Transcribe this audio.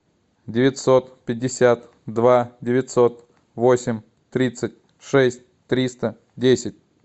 девятьсот пятьдесят два девятьсот восемь тридцать шесть триста десять